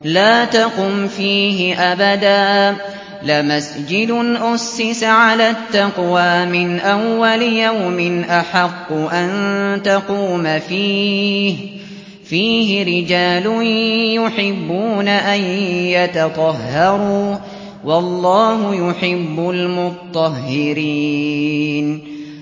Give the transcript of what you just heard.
لَا تَقُمْ فِيهِ أَبَدًا ۚ لَّمَسْجِدٌ أُسِّسَ عَلَى التَّقْوَىٰ مِنْ أَوَّلِ يَوْمٍ أَحَقُّ أَن تَقُومَ فِيهِ ۚ فِيهِ رِجَالٌ يُحِبُّونَ أَن يَتَطَهَّرُوا ۚ وَاللَّهُ يُحِبُّ الْمُطَّهِّرِينَ